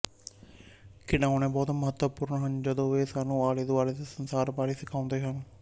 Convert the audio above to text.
ਖਿਡਾਉਣੇ ਬਹੁਤ ਮਹੱਤਵਪੂਰਨ ਹਨ ਜਦੋਂ ਇਹ ਸਾਨੂੰ ਆਲੇਦੁਆਲੇ ਦੇ ਸੰਸਾਰ ਬਾਰੇ ਸਿਖਾਉਂਦੇ ਹਨ